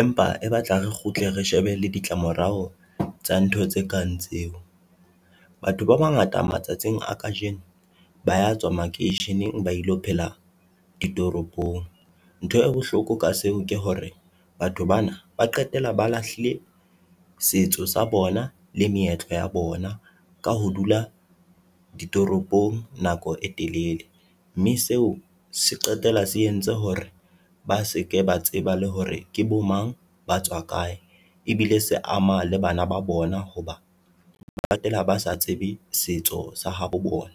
empa e batla re kgutle re shebe le ditlamorao tsa ntho tse kang tseo. Batho ba bangata matsatsing a kajeno ba ya tswa makeisheneng ba ilo phela ditoropong. Ntho e bohloko ka seo ke hore batho bana ba qetella ba lahlile setso sa bona le meetlo ya bona ka ho dula ditoropong nako e telele. Mme seo se qetella se entse hore ba seke ba tseba le hore ke bo mang ba tswa kae ebile se ama le bana ba bona hoba ba qetela ba sa tsebe setso sa habo bona.